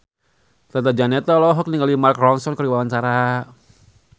Tata Janeta olohok ningali Mark Ronson keur diwawancara